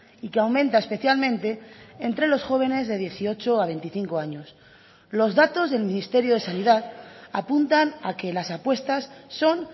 y que aumenta especialmente entre los jóvenes de dieciocho a veinticinco años los datos del ministerio de sanidad apuntan a que las apuestas son